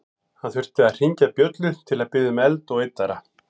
Hann þurfti að hringja bjöllu til að biðja um eld og yddara.